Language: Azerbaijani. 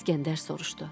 İskəndər soruştu: